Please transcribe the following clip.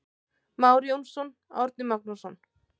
Már Jónsson, Árni Magnússon.